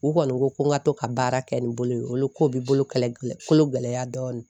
U kɔni ko ko n ka to ka baara kɛ ni bolo ye olu ko bi bolo kɛlɛ kolo gɛlɛya dɔɔni